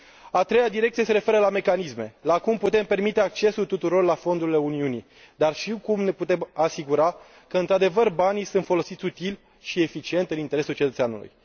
A treia direcție se referă la mecanisme, la cum putem permite accesul tuturor la fondurile Uniunii, dar și cum ne putem asigura că într adevăr banii sunt folosiți util și eficient, în interesul cetățeanului.